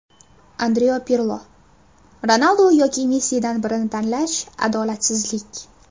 Andrea Pirlo: Ronaldu yoki Messidan birini tanlash adolatsizlik.